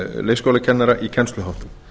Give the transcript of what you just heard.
leikskólakennara í kennsluháttum